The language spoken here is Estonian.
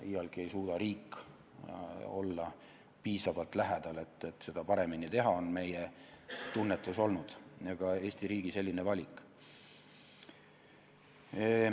Iialgi ei suuda riik olla piisavalt lähedal, et seda paremini teha, on olnud meie tunnetus ja ka Eesti riigi valik.